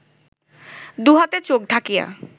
দুহাতে চোখ ঢাকিয়া